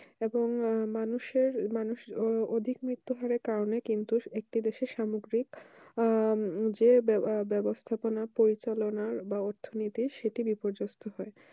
এখন মানুষে এর মানুষ আহ অধিক মিত্ররহারে কারণে কিন্তু একটু দেশে সামগ্রিক আহ যে ব্যবস্থা পোনা পরিচালনা বা অর্থনৈতিক সেট বিপযস্ত হয়